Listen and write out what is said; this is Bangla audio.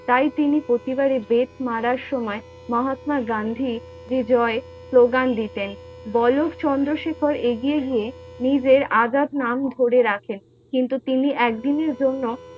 তা তিনি প্রতিবার বেত মারার সময় মহাত্মা গান্ধী বিজয় slogan দিতেন, বালক চন্দ্রশেখর এগিয়ে গিয়ে নিজের আজাদ নাম ধরে রাখেন, কিন্তু তিনি এক দিনের জন্য!